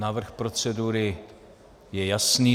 Návrh procedury je jasný.